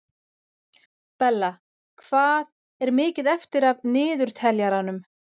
Bella, hvað er mikið eftir af niðurteljaranum?